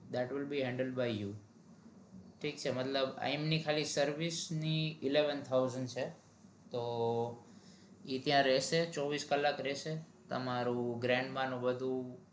that will be handle by you ઠીક છે મતલબ એમની service ની eleven thousand છે તો ઈ ત્યાં રેસે ચોવીસ કલાક ત્ય રેહશે તો